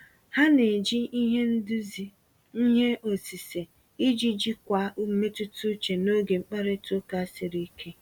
Ha na-eji ihe nduzi ihe osise iji jikwaa mmetụta uche n'oge mkparịta ụka siri ike.